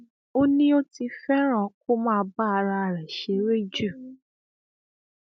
ó ní ó ti fẹràn kó máa bá ara rẹ ṣeré jù